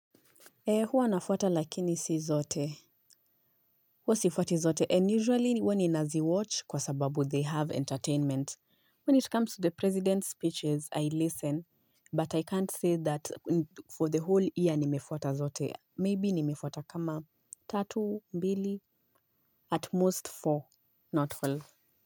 Ee huwa nafuata lakini si zote, huwa sifuati zote and usually huwa ninazi watch kwa sababu they have entertainment. When it comes to the president's speeches I listen but I can't say that for the whole year nimefuata zote, maybe nimefuata kama tatu, mbili, at most four, not four.